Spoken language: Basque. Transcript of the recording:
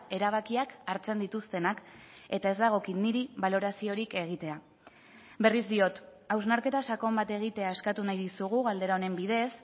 erabakiak hartzen dituztenak eta ez dagokit niri baloraziorik egitea berriz diot hausnarketa sakon bat egitea eskatu nahi dizugu galdera honen bidez